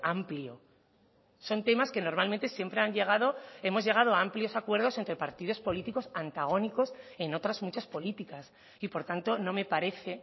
amplio son temas que normalmente siempre han llegado hemos llegado a amplios acuerdos entre partidos políticos antagónicos en otras muchas políticas y por tanto no me parece